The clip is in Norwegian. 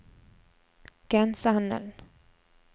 grensehandelen